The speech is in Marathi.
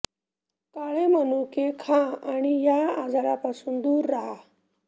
काळे मनुके खा आणि या आजरांपासून दूर रहा